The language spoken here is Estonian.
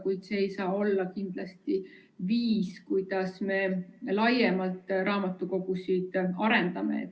Kuid see ei saa olla kindlasti viis, kuidas me laiemalt raamatukogusid arendame.